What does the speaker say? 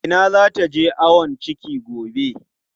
Inna za ta je ayon ciki gobe.